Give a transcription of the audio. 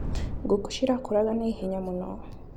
Ngũkũ cirakũraga na ihenya mũno.